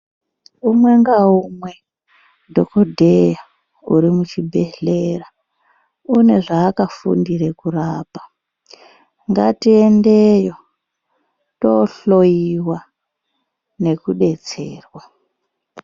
Unge ngaumwe dhokodheya ari muchibhehleya ane zvaakafundire kurapa ngatiyendeyo tinohloyiwa nekudetserwa.